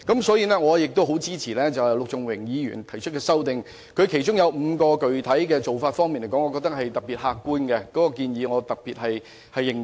此外，我亦很支持陸頌雄議員提出的修正案，而我認為其中5種具體做法尤為客觀，故我對相關建議尤其認同。